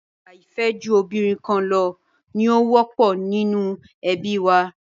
Àṣà ìfẹ́jobìnrinkanlọ ni ó wọ́pọ̀ nínú ẹbí wa.